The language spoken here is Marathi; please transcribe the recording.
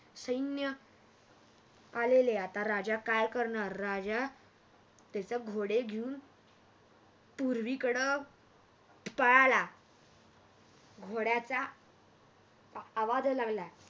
सैन्य आलेले आता राजा काय करणार राजा त्याचे घोडे घेऊन पूर्वीकड पळाला घोड्याचा आवाज यायला लागला.